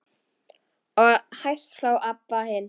Og hæst hló Abba hin.